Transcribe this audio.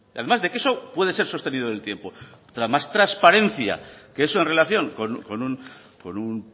además de que eso puede ser sostenido en el tiempo más transparencia que eso en relación con un